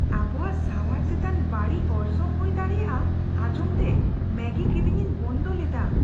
ᱟᱵᱚᱣᱟᱜ ᱥᱟᱶᱟᱨ ᱪᱮᱛᱟᱱ ᱵᱟᱹᱲᱤᱡ ᱚᱨᱥᱚᱝ ᱦᱩᱭ ᱫᱟᱲᱮᱭᱟᱜᱼᱟ ᱟᱸᱧᱡᱚᱢᱛᱮ ᱢᱮᱜᱤ ᱠᱤᱨᱤᱧᱤᱧ ᱵᱚᱱᱫᱚ ᱞᱮᱫᱟ ᱾